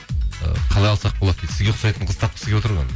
ы қалай алсақ болады дейді сізге ұқсайтын қыз тапқысы келіп отыр ғой